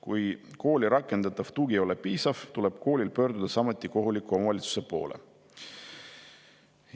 Kui kooli rakendatav tugi ei ole piisav, tuleb koolil pöörduda samuti kohaliku omavalitsuse poole.